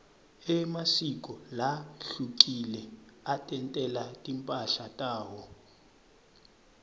emasiko lahlukile atentela timphahla tawo